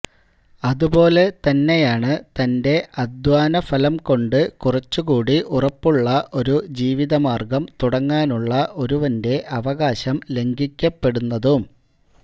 അതുപോലെ തന്നെയാണ് തന്റെ അധ്വാനഫലം കൊണ്ട് കുറച്ചുകൂടി ഉറപ്പുള്ള ഒരു ജീവിതമാര്ഗം തുടങ്ങാനുള്ള ഒരുവന്റെ അവകാശം ലംഘിക്കപ്പെടുന്നതും